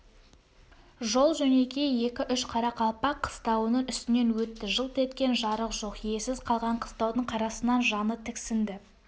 жол-жөнекей екі-үш қарақалпақ қыстауының үстінен өтті жылт еткен жарық жоқ иесіз қалған қыстаудың қарасынан жаны тіксінді